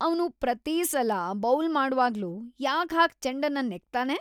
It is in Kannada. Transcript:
ಅವ್ನು ಪ್ರತೀ ಸಲ ಬೌಲ್ ಮಾಡ್ವಾಗ್ಲೂ ಯಾಕ್‌ ಹಾಗ್ ಚೆಂಡನ್ನ ನೆಕ್ತಾನೆ?!